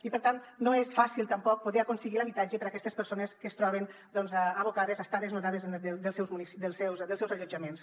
i per tant no és fàcil tampoc poder aconseguir l’habitatge per a aquestes persones que es troben doncs abocades a estar desnonades dels seus allotjaments